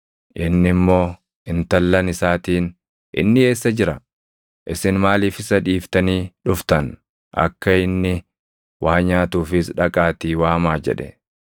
Inni immoo intallan isaatiin, “Inni eessa jira? Isin maaliif isa dhiiftanii dhuftan? Akka inni waa nyaatuufis dhaqaatii waamaa” jedhe.